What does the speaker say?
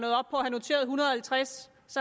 halvtreds